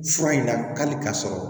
Fura in na hali k'a sɔrɔ